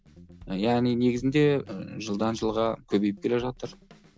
яғни негізінде ыыы жылдан жылға көбейіп келе жатыр